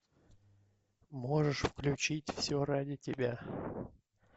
можешь включить все ради тебя